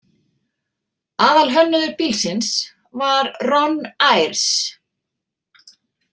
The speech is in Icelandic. Aðalhönnuður bílsins var Ron Ayres.